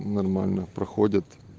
нормально проходят